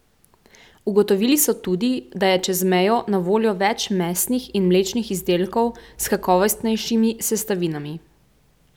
Ugotovili so tudi, da je čez mejo na voljo več mesnih in mlečnih izdelkov s kakovostnejšimi sestavinami.